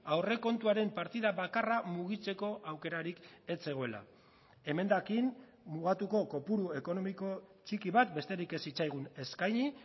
aurrekontuaren partida bakarra mugitzeko aukerarik ez zegoela emendakin mugatuko kopuru ekonomiko txiki bat besterik ez zitzaigun eskaini